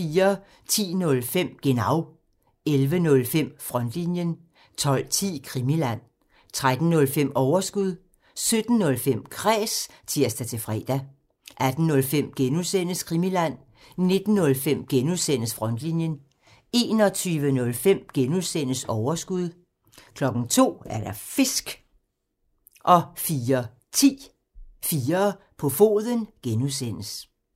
10:05: Genau (tir) 11:05: Frontlinjen (tir) 12:10: Krimiland (tir) 13:05: Overskud (tir) 17:05: Kræs (tir-fre) 18:05: Krimiland (G) (tir) 19:05: Frontlinjen (G) (tir) 21:05: Overskud (G) (tir) 02:00: Fisk! (tir) 04:10: 4 på foden (G) (tir)